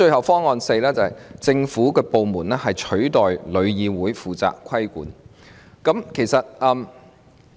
方案四，由政府部門取代旅議會負責規管。